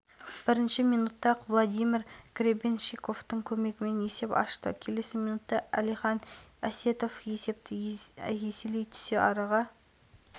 қазақстан ұлттық құрамасы хоккейден универсиаданың топтық кезеңін ірі жеңіспен бастады жерлестеріміз қытай командасын есебімен ойсырата жеңді